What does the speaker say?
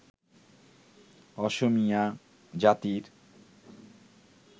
অসমীয়া জাতির